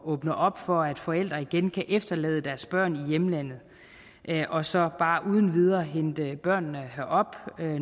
åbne op for at forældre igen kan efterlade deres børn i hjemlandet og så bare uden videre hente børnene herop